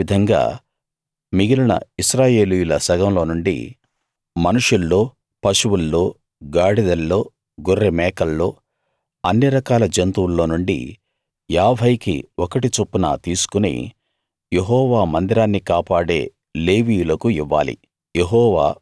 అదే విధంగా మిగిలిన ఇశ్రాయేలీయుల సగంలో నుండి మనుషుల్లో పశువుల్లో గాడిదల్లో గొర్రె మేకల్లో అన్ని రకాల జంతువుల్లోనుండి 50 కి ఒకటి చొప్పున తీసుకుని యెహోవా మందిరాన్ని కాపాడే లేవీయులకు ఇవ్వాలి